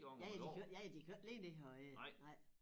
Ja ja de kan de jo ikke ja de kan jo ikke ligge ned og æde nej